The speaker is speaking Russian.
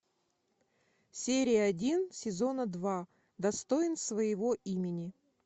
серия один сезона два достоин своего имени